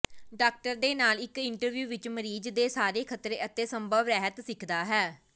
doctor ਦੇ ਨਾਲ ਇਕ ਇੰਟਰਵਿਊ ਵਿੱਚ ਮਰੀਜ਼ ਦੇ ਸਾਰੇ ਖਤਰੇ ਅਤੇ ਸੰਭਵ ਰਹਿਤ ਸਿੱਖਦਾ ਹੈ